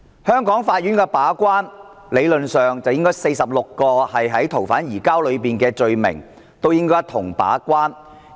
香港法院理論上應該就全部46項逃犯移交的罪類把關。